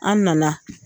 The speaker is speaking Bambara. An nana